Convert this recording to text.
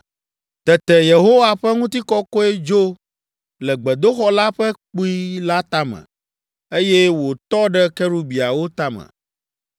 Tete Yehowa ƒe ŋutikɔkɔe dzo le gbedoxɔ la ƒe kpui la tame, eye wòtɔ ɖe kerubiawo tame.